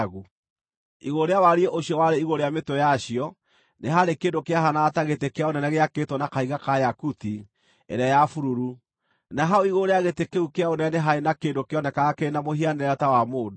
Igũrũ rĩa wariĩ ũcio warĩ igũrũ rĩa mĩtwe yacio nĩ haarĩ kĩndũ kĩahaanaga ta gĩtĩ kĩa ũnene gĩakĩtwo na kahiga ka yakuti ĩrĩa ya bururu, na hau igũrũ rĩa gĩtĩ kĩu kĩa ũnene nĩ haarĩ na kĩndũ kĩonekaga kĩrĩ na mũhianĩre ta wa mũndũ.